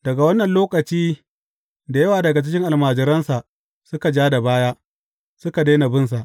Daga wannan lokaci da yawa daga cikin almajiransa suka ja da baya, suka daina bin sa.